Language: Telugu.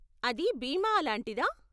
అది బీమా, అలాంటిదా?